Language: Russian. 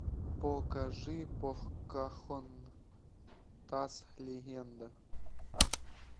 покажи покахонтас легенда